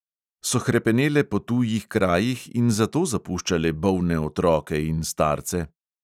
So hrepenele po tujih krajih in zato zapuščale bolne otroke in starce?